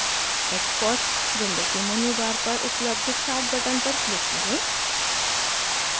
xcos window के menu bar पर उपलब्ध start बटन पर क्लिक करें